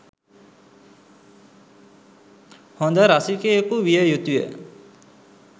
හොඳ රසිකයකු විය යුතුය.